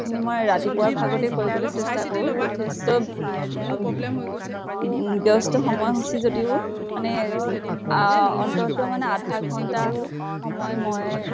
সেইখিনি মই ৰাতিপুৱাৰ ভাগতে কৰিবলে চেষ্টা কৰো। যথেষ্ট অম উম ব্য়স্ত সময় সূচী যদিও, মানে আহ অন্ততʼ মানে আধা ঘন্টা সময় মই